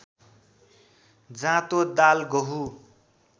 जाँतो दाल गहुँ